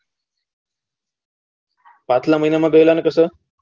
પાછલા મહિના માં ગયલા કે શું